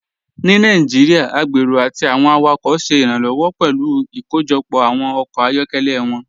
Ní Nàìjíríà, agbérò àti awọn awakọ ṣẹ iranlọwọ pẹ̀lú ikóójọpọ awọn ọkọ ayọkẹlẹ wọn.